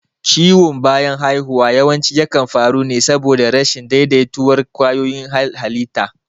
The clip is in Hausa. Ciwon bayan haihuwa yawanci yakan faru ne saboda rashin daidaituwar ƙwayoyin halitta.